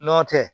Nɔntɛ